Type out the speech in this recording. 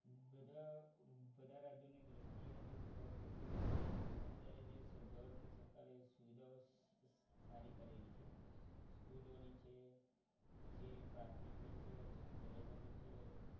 બધા બધા રાજ્યોની દ્રષ્ટિએ જે ગુજરાતની અંદર અત્યારે જે government સરકારે સુવિધાઓ સારી કરેલી છે સ્કૂલોની છે પછી પ્રાથમિકની છે કોલેજોની છે